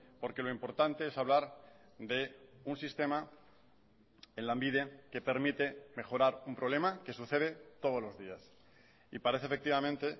porque lo importante es hablar de un sistema en lanbide que permite mejorar un problema que sucede todos los días y parece efectivamente